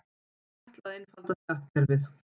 Ætla að einfalda skattkerfið